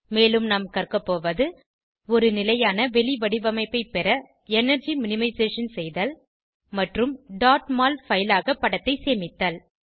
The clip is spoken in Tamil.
மேலும் நாம் கற்கபோவது ஒரு நிலையான வெளிவடிவமைப்பை பெற எனர்ஜி மினிமைசேஷன் செய்தல் மற்றும் mol பைல் ஆக படத்தை சேமித்தல்